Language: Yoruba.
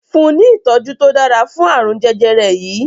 fun ní itọju to dára fún arun jẹjẹrẹ yí!